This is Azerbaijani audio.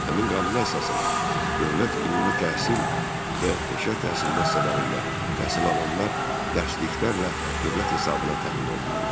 Həmin qanuna əsasən, dövlət ümumi təhsil və peşə təhsil müəssisələrində təhsil alanlar dərsliklərlə dövlət hesabına təmin olunurlar.